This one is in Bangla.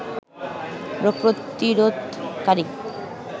রোগ প্রতিরোধকারী